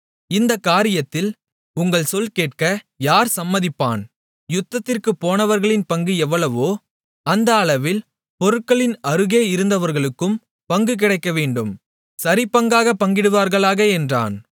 இந்தக் காரியத்தில் உங்கள் சொல் கேட்க யார் சம்மதிப்பான் யுத்தத்திற்குப் போனவர்களின் பங்கு எவ்வளவோ அந்த அளவில் பொருட்களின் அருகே இருந்தவர்களுக்கும் பங்கு கிடைக்கவேண்டும் சரிபங்காகப் பங்கிடுவார்களாக என்றான்